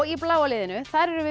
í bláa liðinu erum við